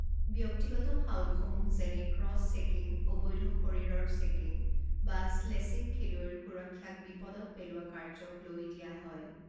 ব্যক্তিগত ফাউলসমূহ যেনে ক্ৰছ-চেকিং অবৈধ শৰীৰৰ চেকিং বা স্লেচিং খৈলুৱৈৰ সুৰক্ষাক বিপদত পেলোৱা কাৰ্য্যক লৈ দিয়া হয়।